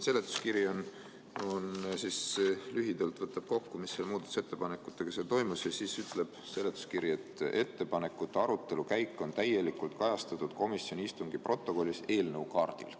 Seletuskiri võtab lühidalt kokku, mis muudatusettepanekutega toimus, ja siis ütleb seletuskiri, et ettepanekute arutelu käik on täielikult kajastatud komisjoni istungi protokollis eelnõu kaardil.